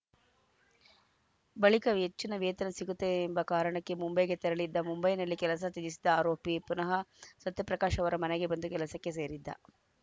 ಬಳಿಕ ಹೆಚ್ಚಿನ ವೇತನ ಸಿಗುತ್ತದೆ ಎಂಬ ಕಾರಣಕ್ಕೆ ಮುಂಬೈಗೆ ತೆರಳಿದ್ದ ಮುಂಬೈನಲ್ಲಿ ಕೆಲಸ ತ್ಯಜಿಸಿದ್ದ ಆರೋಪಿ ಪುನಃ ಸತ್ಯಪ್ರಕಾಶ್‌ ಅವರ ಮನೆಗೆ ಬಂದು ಕೆಲಸಕ್ಕೆ ಸೇರಿದ್ದ